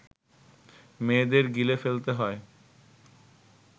মেয়েদের গিলে ফেলতে হয়